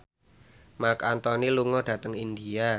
Marc Anthony lunga dhateng India